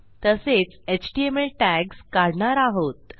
तसेच HTML tags काढणार आहोत